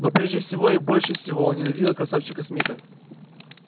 но прежде всего и больше всего он ненавидел красавчика смита